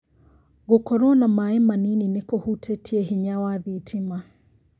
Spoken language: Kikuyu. Gũkorwo na maaĩ manini nĩkũhutĩtie hinya wa thitima